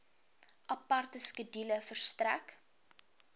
aparte skedule verstrek